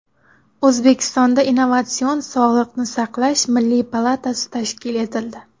O‘zbekistonda Innovatsion sog‘liqni saqlash milliy palatasi tashkil etildi.